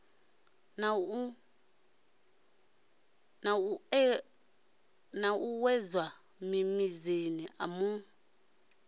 na u ṱuṱuwedzwa mimiziamu i